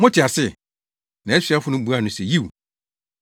“Mote ase?” Nʼasuafo no buaa no se, “Yiw.”